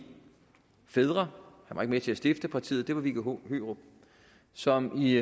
fædre han med til at stifte partiet var viggo hørup som i